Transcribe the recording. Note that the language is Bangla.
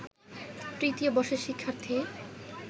তৃতীয় বর্ষের শিক্ষার্থী